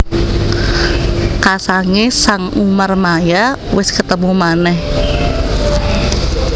Kasangé sang Umarmaya wis ketemu manèh